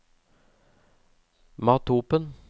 Mathopen